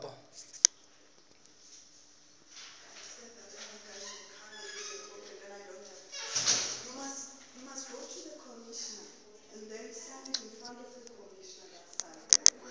emasiko acala kadzeni